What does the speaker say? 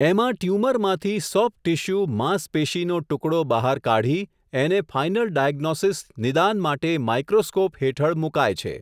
એમાં ટયુમરમાંથી soft tissue માંસપેશીનો ટુકડો બહાર કાઢી, એને ફાઇનલ ડાયગ્નોસીસ નિદાન માટે માઇક્રોસ્કોપ હેઠળ મુકાય છે.